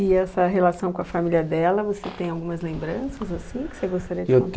E essa relação com a família dela, você tem algumas lembranças, assim, que você gostaria de